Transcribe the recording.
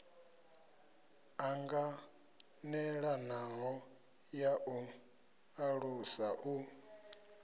ṱanganelanaho ya u ṱalusa u